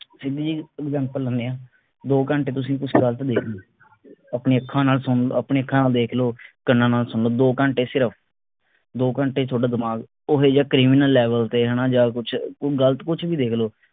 ਸਿੱਧੀ ਜੀ example ਲੈਣੇ ਆ ਦੋ ਘੰਟੇ ਤੁਸੀਂ ਕੇ ਦੇਖ ਲਿਓ ਆਪਣੀ ਅੱਖਾਂ ਨਾਲ ਥੋਨੂੰ ਆਪਣੀ ਅੱਖਾਂ ਨਾਲ ਦੇਖ ਲੋ ਕੰਨਾਂ ਨਾਲ ਸੁਨ ਲੋ ਦੋ ਘੰਟੇ ਸਿਰਫ ਦੋ ਘੰਟੇ ਚ ਥੋਡਾ ਦਿਮਾਗ ਉਹੋਜਾ criminal level ਤੇ ਹਣਾ ਜਾ ਕੁਛ ਗਲਤ ਕੁਛ ਵੀ ਦੇਖ ਲਓ